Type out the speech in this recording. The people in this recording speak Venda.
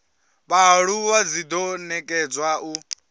vhaaluwa dzi do nekedzwa u